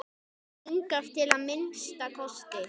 Hingað til að minnsta kosti.